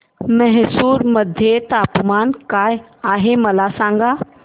म्हैसूर मध्ये तापमान काय आहे मला सांगा